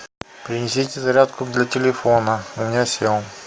принесите зарядку для телефона у меня сел